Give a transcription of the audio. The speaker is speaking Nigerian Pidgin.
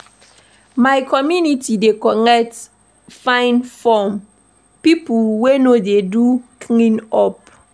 My community dey collect fine from pipo wey no dey do clean-up.